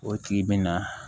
O tigi bɛ na